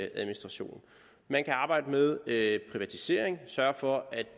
administration man kan arbejde med privatisering og sørge for at